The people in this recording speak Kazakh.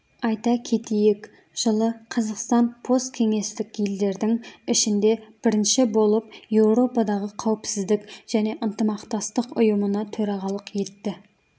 айта кетейік жылы қазақстан посткеңестік елдердің ішінде бірінші болып еуропадағы қауіпсіздік және ынтымақтастық ұйымына төрағалық етті